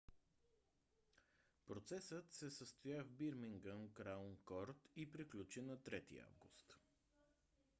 процесът се състоя в бирмингам краун корт и приключи на 3 август